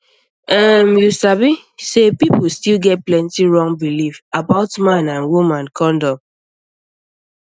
um you sabi say people still get plenty wrong belief about um man and woman condom um